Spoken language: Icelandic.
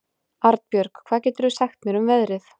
Arnbjörg, hvað geturðu sagt mér um veðrið?